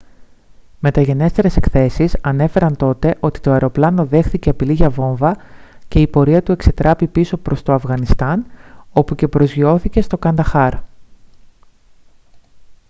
μεταγενέστερες εκθέσεις ανέφεραν τότε ότι το αεροπλάνο δέχθηκε απειλή για βόμβα και η πορεία του εξετράπη πίσω προς το αφγανιστάν όπου και προσγειώθηκε στο κανταχάρ